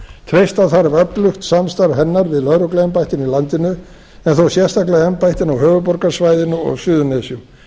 treysta þarf öflugt samstarf hennar við lögregluembættin í landinu en þó sérstaklega embættin á höfuðborgarsvæðinu og á suðurnesjum